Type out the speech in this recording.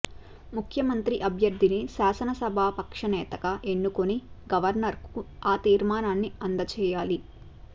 ముఖ్యమంత్రి అభ్యర్థిని శాసనసభా పక్షనేతగా ఎన్నుకుని గవర్నర్కు ఆ తీర్మానాన్ని అందజేయాలి